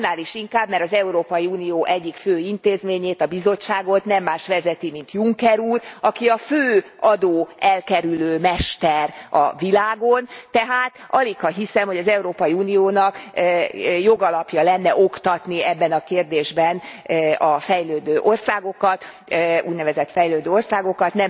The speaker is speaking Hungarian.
Annál is inkább, mert az Európai Unió egyik fő intézményét, a Bizottságot nem más vezeti, mint Juncker úr, aki a fő adóelkerülő mester a világon, tehát aligha hiszem, hogy az Európai Uniónak jogalapja lenne oktatni ebben a kérdésben a fejlődő országokat, az úgynevezett fejlődő országokat.